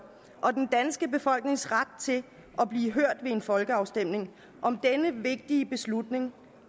og den danske befolknings ret til at blive hørt ved en folkeafstemning om denne vigtige beslutning